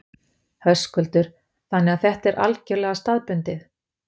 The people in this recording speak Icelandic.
Höskuldur: Þannig að þetta er algjörlega staðbundið?